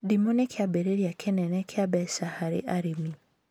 Ndimũ nĩ kiambĩrĩria kĩnene kĩa mbeca harĩ arĩmi